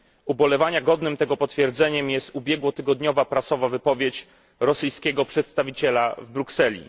Ubolewania godnym tego potwierdzeniem jest ubiegłotygodniowa wypowiedź prasowa rosyjskiego przedstawiciela w Brukseli.